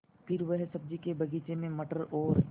फिर वह सब्ज़ी के बगीचे में मटर और